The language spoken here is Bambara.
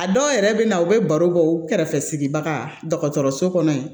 A dɔw yɛrɛ bɛ na u bɛ baro kɛ u kɛrɛfɛ baga dɔgɔtɔrɔso kɔnɔ yen